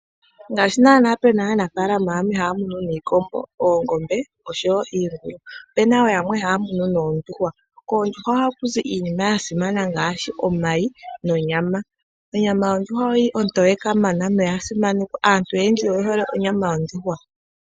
Ngaashi naana puna aanafaalama yamwe haya munu iikombo noongombe osho wo iingulu, opuna wo yamwe ya munu noondjuhwa. Koondjuhwa ohakuzi iinima ya simana ngaashi omayi nondjama. Obama yondjuhwa oyili onto we kamana noya simanekwa. Aantu oyendji oye hole onyama yondjuhwa.